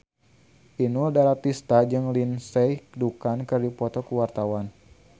Inul Daratista jeung Lindsay Ducan keur dipoto ku wartawan